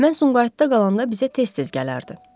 Mən Sumqayıtda qalanda bizə tez-tez gələrdi.